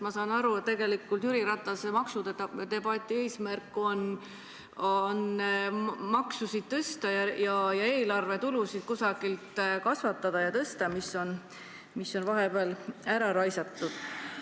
Ma saan aru, et tegelikult Jüri Ratase maksudebati eesmärk on maksusid tõsta, et eelarvetulusid mingil moel kasvatada – raha on vahepeal ära raisatud.